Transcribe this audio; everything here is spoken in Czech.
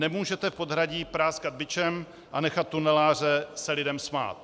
Nemůžete v podhradí práskat bičem a nechat tuneláře se lidem smát.